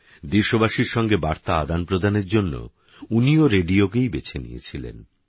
দেশবাসীর সঙ্গে বার্তা আদানপ্রদানের জন্য উনিও রেডিওকেই বেছে নিয়েছিলেন